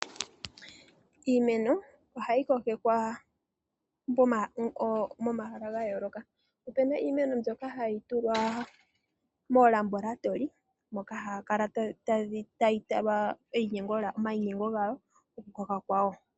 Iimeno ohayi kokekwa momahala ga yooloka. Opu na iimeno mbyoka hayi tulwa moolabolatoli, moka hayi kala tayi talwa omayinyengo gayo komakwawo.